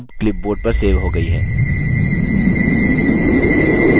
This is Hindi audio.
image अब clipboard पर सेव हो गयी है